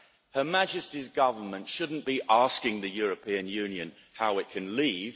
Her Majesty's government shouldn't be asking the European Union how it can leave